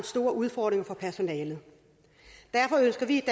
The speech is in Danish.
stor udfordring for personalet derfor ønsker vi